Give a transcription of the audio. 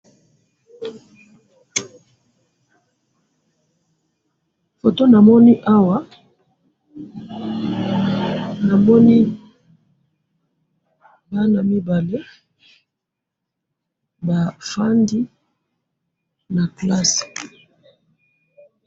photo namoni awa, namoni bana mibale, bafandi na classe